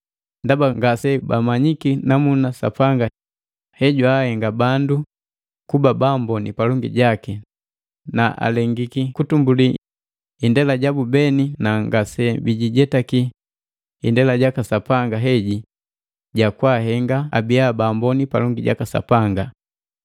Ndaba ngase bamanyiki namuna Sapanga he jwaahenga bandu kuba baamboni palangi jaki na alengiki kutumbuli indela jabu beni na ngase bijijetaki indela jaka Sapanga heji ja kwaahenga abia Baamboni palongi jaka Sapanga.